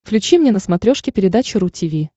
включи мне на смотрешке передачу ру ти ви